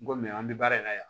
N ko mɛ an bɛ baara in na yan